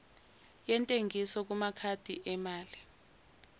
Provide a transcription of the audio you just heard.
yentengiso kumakhadi emali